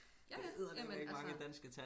Ja ja jamen altså